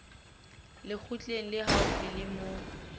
lekgotleng le haufi le moo